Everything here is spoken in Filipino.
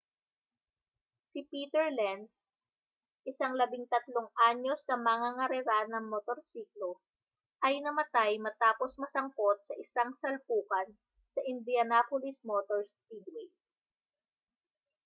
si peter lenz isang 13-anyos na mangangarera ng motorsiklo ay namatay matapos masangkot sa isang salpukan sa indianapolis motor speedway